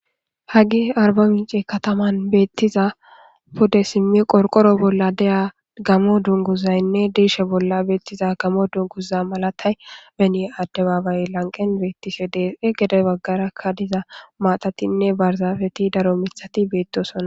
haggi arba mince kataman beettiza pude simmi qorqoro bolla deya gamo dunguzaynne diishe bolla beettiza gamo dunguza malatay beni addebaabay lanqen beettise deese gede baggarakka diza maatatinne barzafeti daro mithati beettosona